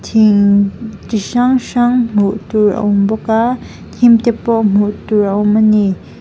chi hrang hrang hmuhtur a awm bawk a hnim te pawh hmuh tur a awm a ni.